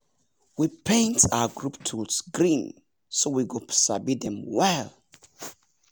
we paint our group tools green so we go sabi dem well.